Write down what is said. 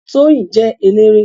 Tóyìn jẹ́ eléré